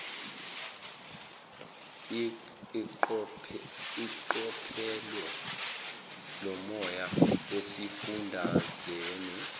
iqophelo lomoya esifundazweni